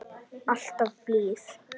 Alltaf blíð.